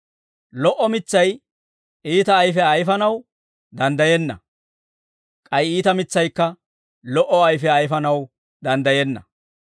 Lo"o mitsay iita ayfiyaa ayfanaw danddayenna; k'ay iita mitsaykka lo"o ayfiyaa ayfanaw danddayenna.